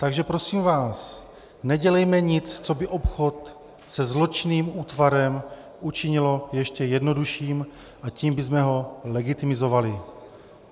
Takže prosím vás nedělejme nic, co by obchod se zločinným útvarem učinilo ještě jednodušším, a tím bychom ho legitimizovali.